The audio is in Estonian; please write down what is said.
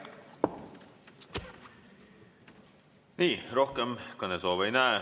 Nii, rohkem kõnesoove ei näe.